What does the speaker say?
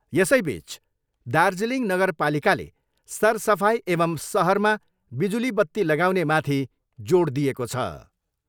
यसैबिच दार्जिलिङ नगरपालिकाले सरसफाइ एवम् सहरमा विजुली बत्ती लगाउने माथि जोड दिएको छ।